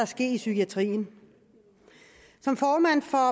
ske i psykiatrien som formand for